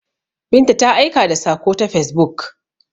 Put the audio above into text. Binta ta aika da sako ta facebook.